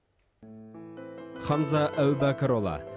хамза әубәкірұлы